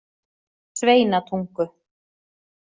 Sveinatungu